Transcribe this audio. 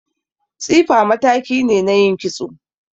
Tsifa mataki ne na yin kitso